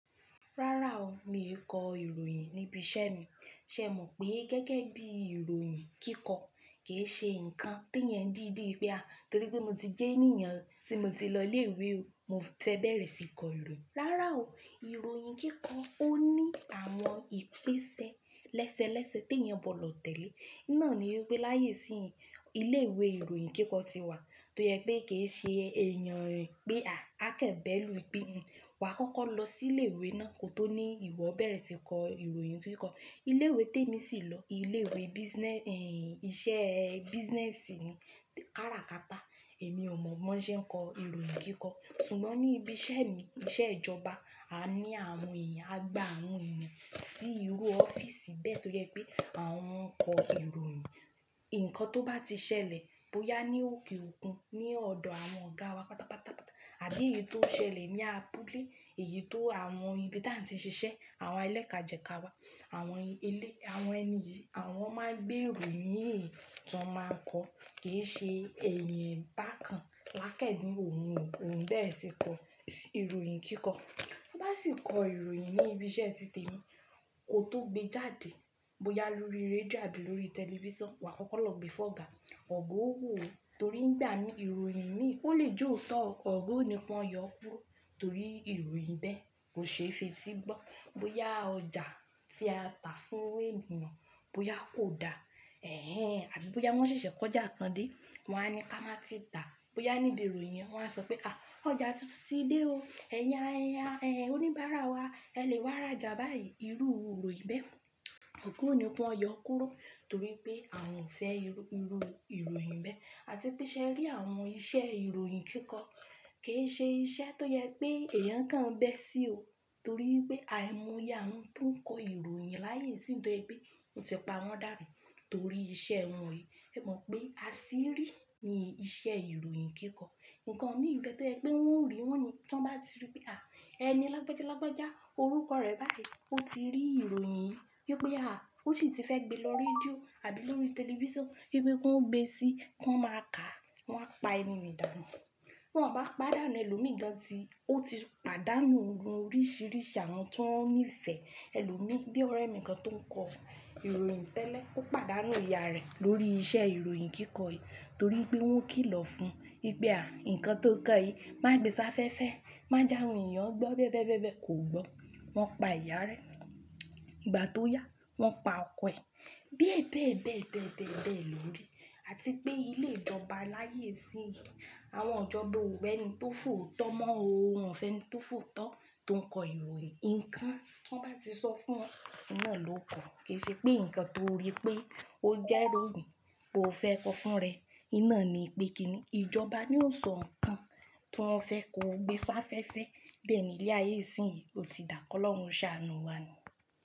Rárá o, mi ò kọ ìròyìn níbi iṣẹ́ mi. Ṣé ẹ mọ̀ pé gẹ́gẹ́ bí ìròyìn kíkọ kì í ṣe nǹkan tí èèyàn dídí pé à, torí pé mo ti jẹ́ ènìyàn tí mo ti lọ ilé ìwé, mo fẹ́ bẹ̀rẹ̀ síí kọ ìròyìn. Rárá o, ìròyìn kíkọ ó ní àwọn ìpésẹ́ lẹ́sẹ lẹ́sẹ tí èèyàn bọ̀ lọ tẹ̀lé. Iná ni wípé láyé ìsín yìí, ilé ìwé ìròyìn kíkọ ti wà tó yẹ pé kì í ṣe èèyàn rin pé à, a kẹ́ bẹ̀ lù ú bí nǹkan. Wa kọ́kọ́ lọ sí ilé ìwé náà kó tó ní ìwọ bẹ̀rẹ̀ síí kọ ìròyìn kíkọ. Ilé ìwé tí èmi sì lọ, ilé ìwé business, ẹ́, iṣẹ́ business ni. Kára kata, èmi ò mọ̀ mọ́ ṣé ń kọ ìròyìn kíkọ. Ṣùgbọ́n ní ibi iṣẹ́ mi, iṣẹ́ ìjọba, a ní àwọn èèyàn, a gbà àwọn èèyàn sí irú ọ́fíìsì bẹ́ẹ̀ tó jẹ pé àwọn ń kọ ìròyìn. Ǹkan tó bá ti ṣẹlẹ̀ bóyá ní òkè òkun, ní ọ̀dọ̀ àwọn ọ̀gáa wa pátápátá, àbí èyí tó ṣẹlẹ̀ ní abúlé, èyí tó àwọn ibi tí a ti ń ṣiṣẹ́, àwọn elékà jeka wa, àwọn ilé, àwọn ẹni yìí, àwọn máa ń gbé ìròyìn yìí tó máa ń kọ. Kì í ṣe èèyàn bákan lákẹ́ẹ̀dín òun o, òun bẹ̀rẹ̀ síí kọ ìròyìn kíkọ. Bá sì kọ ìròyìn ní ibi iṣẹ́ títe èmi kó tó gbé jáde, bóyá lórí rédíò àbí lórí tẹlifísàn, wa kọ́kọ́ lọ gbe fún ọ̀gá. Ọ̀gá ó wò ó, torí ń gba ìròyìn imi, ó lè jó ọ́tọ́. Ọ̀gá ò ní kọn yọ kúrò torí ìròyìn bẹ́ẹ̀ kò ṣe é fetí gbọ́. Bóyá ọjà tí a tà fún e eniyan, bóyá kò dá, ẹ̀hen, àbí bóyá wọ́n ṣẹ̀ṣẹ̀ kọjá kan dé, wọ́n á ní ká máa ti tàá. Bóyá níbi ìròyìn yẹn wọ́n á sọ pé, à, ọjà tuntun ti dé o, ẹ̀yin, ẹ̀yin, ẹ́, oníbàárà wa, ẹ lè wá rajà báyìí. Irú ìròyìn bẹ́ẹ̀, ọ̀gá ò ní pọn yọ kúrò torí pé àwọn ò fẹ́ ìrù, ìrù ìròyìn bẹ́ẹ̀. Àti pé ṣe ẹ rí àwọn iṣẹ́ ìròyìn kíkọ, kì í ṣe iṣẹ́ tó yẹ pé èèyàn kan bẹ́ sí o, torí pé àìmúyá ń tún kọ ìròyìn láyé ìsín tó ẹ̀gbẹ́. N won ti pa àwọn dànú torí iṣẹ́ wọn yìí. Ẹ mọ̀ pé, a sì rí i ni iṣẹ́ ìròyìn kíkọ. Ǹkan mi nbe tó yẹ pé wọ́n ó rí wọ́n ni. Tí wọ́n bá ti rí pé à, ẹni lágbejálágbejá, orúkọ rẹ̀ báyìí, ó ti rí ìròyìn yìí wípé à, ó sì ti fẹ́ gbe lọ rédíò àbí lórí tẹlifísàn wípé kó gbe síí, kó máa kà á, wọ́n á pa ẹni mìí danù. Wọ́n bá pàdánù ẹlòmíràn tí ó ti pàdánù ohun oríṣìíríṣìí àwọn tó ń nífẹ̀ẹ́ ẹlòmíì. Bíi ọ̀rẹ́ mi kan tó ń kọ ìròyìn tẹ́lẹ̀, ó pàdánù ìyá rẹ̀ lórí iṣẹ́ ìròyìn kíkọ yìí torí pé wọ́n kìlọ̀ fún un wípé à, ǹkan tó ń kọ yìí má gbé sáféfé, má jáwọn èèyàn gbọ́ bẹ́bẹ́bẹ́bẹ́ kò gbọ́. Wọ́n pa ìyá rẹ. Ìgbà tó yá, wọ́n pa ọkọ ẹ̀. Bíi ẹ̀bẹ̀ẹ̀bẹ̀, bẹ̀bẹ̀ẹ̀bẹ̀ lórí. Àti pé ilé ìjọba láyé ìsín yìí, àwọn ijoba ò wá ẹni tó fòótọ́ mọ́ o. Wọn ò fẹ́ ẹni tó fòótọ́ tó ń kọ ìròyìn. Ǹkan tí wọ́n bá ti sọ fún wọn, iná lò ó kọ́. Kì í ṣe pé ǹkan tó rí pé ó jẹ́ ìròyìn, kò fẹ́ kọ fún rẹ̀. Iná ni wípé kí ni ìjọba ni ó sọ ǹkan tí wọ́n ò fẹ́ kó gbé sáféfé. Bẹ́ẹ̀ ni ilẹ̀ ayé ìsín yìí, ó ti dàkọ́ lọ́wọ́ Òṣà ẹnù wa ni.